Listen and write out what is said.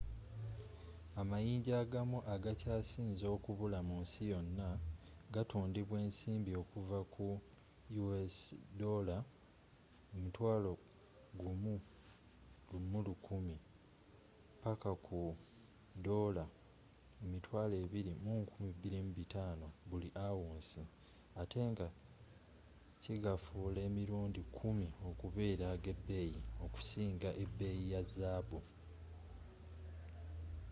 amayinja agamu agakya sinze okubula mu nsi yonna gatundibwa esimbi okuvva ku us$11,000 mpaka ku $22500 buli ounce atte nga kigafuula emirundi kumi okubeera ag’ebeeyi okusinga ebeeyi ya zaabu